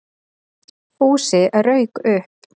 Fúsi rauk upp.